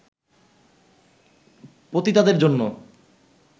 পতিতাদের জন্য